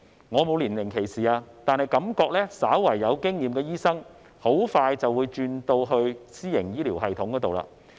我並非年齡歧視，但感覺稍為有經驗的醫生很快就會轉職到私營醫療系統。